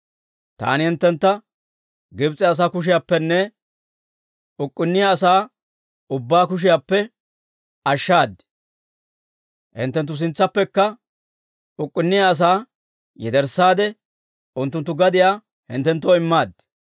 Taani hinttentta Gibs'e asaa kushiyaappenne uk'k'unniyaa asaa ubbaa kushiyaappe ashshaad; hinttenttu sintsaappekka uk'k'unniyaa asaa yederssaade, unttunttu gadiyaa hinttenttoo immaad.